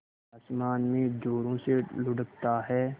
आसमान में ज़ोरों से लुढ़कता है